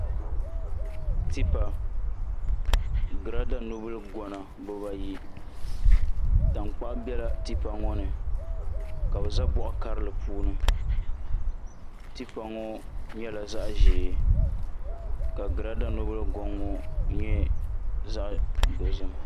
Tipa ni girada nubili gona bibayi tankpaɣu biɛla tipa ŋo ni ka bi ʒɛ boɣa karili puuni tipa ŋo nyɛla zaɣ ʒiɛ ka girada nubili goŋ ŋo nyɛ zaɣ dozim